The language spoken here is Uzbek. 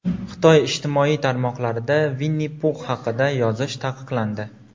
Xitoy ijtimoiy tarmoqlarida Vinni-Pux haqida yozish taqiqlandi.